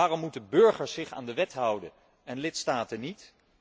Waarom moet de burger zich aan de wet houden en lidstaten niet?